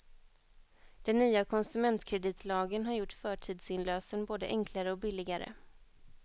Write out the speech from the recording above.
Den nya konsumentkreditlagen har gjort förtidsinlösen både enklare och billigare.